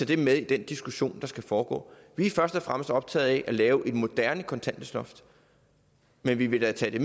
det med i den diskussion der skal foregå vi er først og fremmest optaget af at lave et moderne kontanthjælpsloft men vi vil da tage